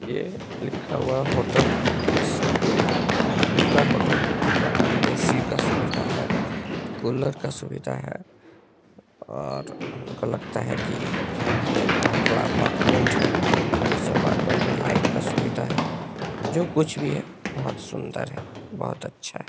ये लिखा हुआ होटल कृष्णा कृष्णा होटल है जहां ए.सी. का सुविधा है कूलर का सुविधा है और हमको लगता है कि ये एक बहुत बड़ा अपार्टमेंट है इस अपार्टमेंट में लाइट का सुविधा है जो कुछ भी है बहुत सुन्दर है बहुत अच्छा है।